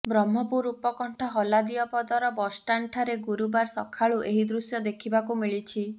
ବ୍ରହ୍ମପୁର ଉପକଣ୍ଠ ହଲାଦିଅପଦର ବସଷ୍ଟାଣ୍ଡ ଠାରେ ଗୁରୁବାର ସକାଳୁ ଏହି ଦୃଶ୍ୟ ଦେଖିବାକୁ ମିଳିଛି